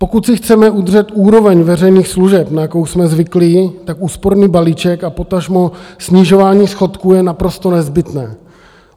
Pokud si chceme udržet úroveň veřejných služeb, na jakou jsme zvyklí, tak úsporný balíček a potažmo snižování schodku je naprosto nezbytné.